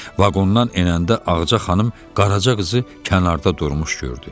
Vaqondan enəndə Ağca xanım qaraca qızı kənarda durmuş gördü.